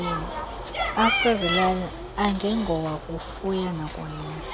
asezilalini angengowakufuya nakulima